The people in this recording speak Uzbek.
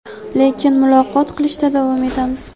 lekin muloqot qilishda davom etamiz.